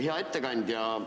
Hea ettekandja!